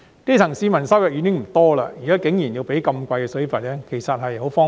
基層市民收入已經不多，現在竟然還要繳付高昂水費，實在是十分荒謬。